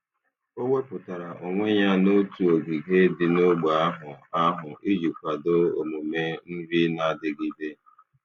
O wepụtara onwe ya n'otu ogige dị n'ógbè ahụ ahụ iji kwado omume nri na-adigide.